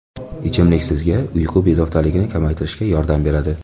Ichimlik sizga uyqu bezovtaligini kamaytirishga yordam beradi.